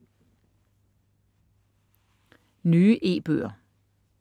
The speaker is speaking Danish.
Nye e-bøger